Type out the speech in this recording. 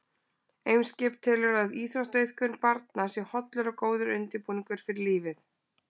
Eimskip telur að íþróttaiðkun barna sé hollur og góður undirbúningur fyrir lífið.